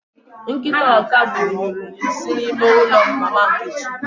Nkịta Ọkagbue nyuru nsị n'ime ụlọ Mama Nkechi.